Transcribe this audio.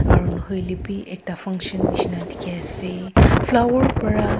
aru nahoi ley bhi ekta function nisna dikhi ase flower para--